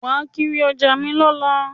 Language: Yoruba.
Wàá kiri ọjà mi lọ́la